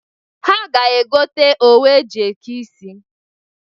Ha ga-egota owu e ji eke isi.